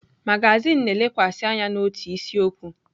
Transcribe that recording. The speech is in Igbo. Magazin na-elekwasị anya n'otu isiokwu.